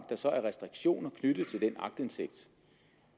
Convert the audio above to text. så restriktioner knyttet til den aktindsigt